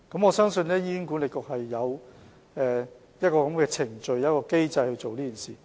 我相信醫管局有這樣的機制或程序做這件事。